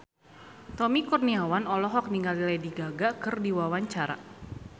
Tommy Kurniawan olohok ningali Lady Gaga keur diwawancara